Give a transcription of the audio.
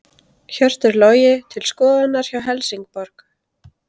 Hjörtur Logi til skoðunar hjá Helsingborg